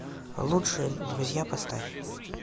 лучшие друзья поставь